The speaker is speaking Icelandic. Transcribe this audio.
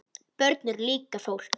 Börn eru líka fólk.